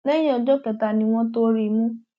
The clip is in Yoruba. lẹyìn ọjọ kẹta ni wọn tóó rí i mú